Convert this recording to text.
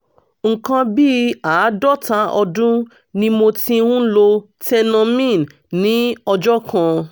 nǹkan bí àádọ́ta ọdún ni mo ti ń lo tenormin ní ọjọ́ kan